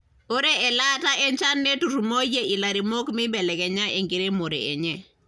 ore elaata enchan neturumoyie ilairemok meibelekenya enkiremore enye.